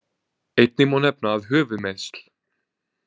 Einnig má nefna að höfuðmeiðsl.